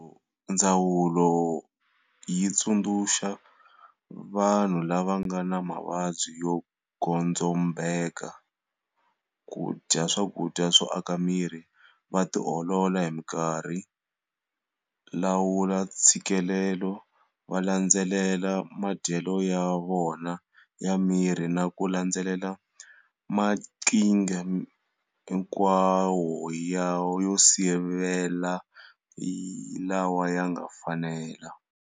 Ndzawulo yi tsundzuxa vanhu lava nga na mavabyi yo godzombela ku dya swakudya swo aka miri, va ti olola hi mikarhi, lawula ntshikilelo, va landzelela madyelo ya vona ya mirhi na ku landzelela maqhinga hinkwawo yo sivela lawa ya nga fanela.